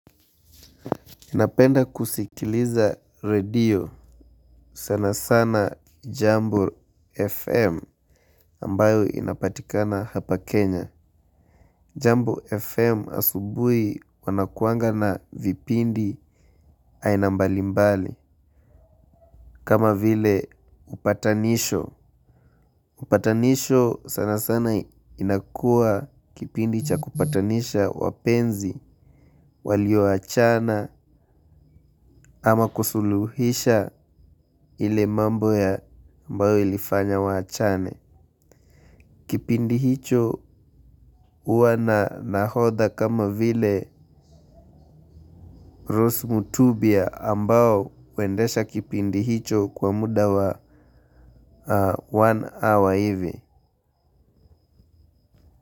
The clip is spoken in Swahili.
Napenda kusikiliza radio sana sana jambo FM ambayo inapatikana hapa Kenya Jambo FM asubuhi wanakuanga na vipindi aina mbali mbali kama vile upatanisho. Upatanisho sana sana inakua kipindi cha kupatanisha wapenzi walio achana ama kusuluhisha ile mambo ya ambayo ilifanya wachane. Kipindi hicho huwa na nahodha kama vile rosu mutubia ambao huendesha kipindi hicho kwa muda wa one awa hivi.